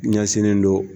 Ɲɛsinnen don